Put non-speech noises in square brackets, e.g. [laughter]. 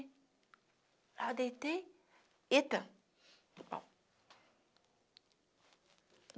Aí eu deitei... Eita! [unintelligible]